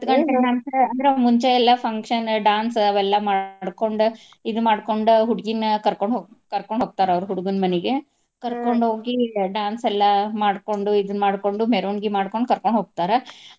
ಹತ್ತ ಗಂಟೆ ನಂತ್ರ ಅಂದ್ರ ಮುಂಚೆ ಎಲ್ಲಾ function dance ಅವೆಲ್ಲಾ ಮಾಡ್ಕೊಂಡ ಇದ ಮಾಡ್ಕೊಂಡ ಹುಡ್ಗಿನ ಕರ್ಕೊಂಡ್ ಕರ್ಕೊಂಡ್ ಹೋಗ್ತಾರ ಅವ್ರ ಹುಡ್ಗನ ಮನಿಗೆ. ಕರ್ಕೊಂಡ್ ಹೋಗಿ dance ಎಲ್ಲಾ ಮಾಡ್ಕೊಂಡು ಇದನ್ನ ಮಾಡ್ಕೊಂಡು ಮೆರವಣಿಗಿ ಮಾಡ್ಕೊಂಡ್ ಕರ್ಕೊಂಡ್ ಹೋಗ್ತಾರ.